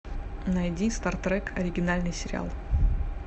найди стартрек оригинальный сериал